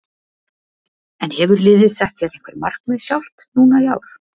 En hefur liðið sett sér einhver markmið sjálft núna í ár?